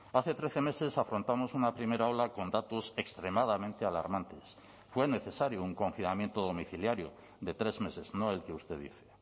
hace trece meses afrontamos una primera ola con datos extremadamente alarmantes fue necesario un confinamiento domiciliario de tres meses no el que usted dice